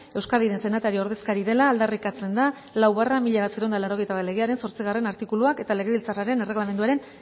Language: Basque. euskadiren senatari ordezkari dela aldarrikatzen da lau barra mila bederatziehun eta laurogeita bat legearen zortzigarrena artikuluak eta legebiltzarraren erreglamenduaren